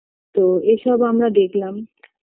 তো এ সব আমরা দেখলাম